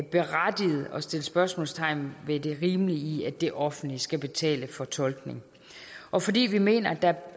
berettiget at sætte spørgsmålstegn ved det rimelige i at det offentlige skal betale for tolkning og fordi vi mener at der